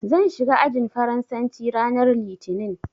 Zan shiga ajin Faransanci ranar Litinin.